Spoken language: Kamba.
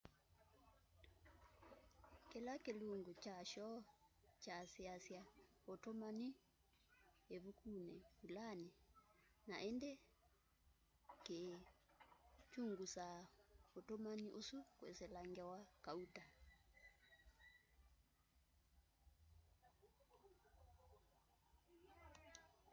kila kilungu kya shoo kyasyiasya utumani ivukuni vulani na indi kiikyungusa utumani usu kwisila ngewa kauta